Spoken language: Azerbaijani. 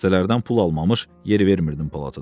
Xəstələrdən pul almamış yer vermirdin polatada.